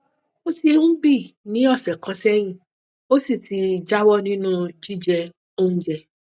ó ti ń bii ní ọsẹ kan sẹyìn ó sì ti jáwọ nínú jíjẹ oúnjẹ